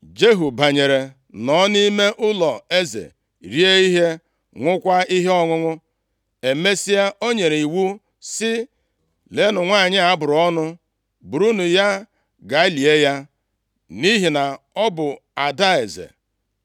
Jehu banyere nọ nʼime ụlọeze rie ihe, ṅụkwaa ihe ọṅụṅụ. Emesịa, o nyere iwu sị, “Leenụ nwanyị a a bụrụ ọnụ; burunu ya gaa lie ya, nʼihi na ọ bụ ada eze.” + 9:34 Jezebel bụ ada Etbaal, eze ndị Saịdọn \+xt 1Ez 16:31\+xt*